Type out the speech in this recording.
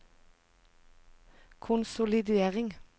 konsolidering